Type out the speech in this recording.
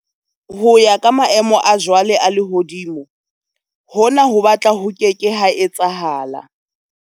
Ho ya ka maemo a jwale a lehodimo, hona ho batla ho ke ke ha etsahala.